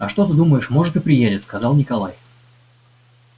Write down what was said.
а что ты думаешь может и приедет сказал николай